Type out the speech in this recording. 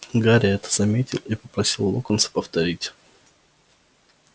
гарри это заметил и попросил локонса повторить